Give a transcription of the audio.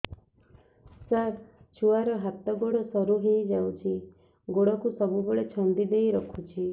ସାର ଛୁଆର ହାତ ଗୋଡ ସରୁ ହେଇ ଯାଉଛି ଗୋଡ କୁ ସବୁବେଳେ ଛନ୍ଦିଦେଇ ରଖୁଛି